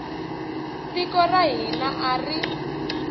tiko ra hina a ri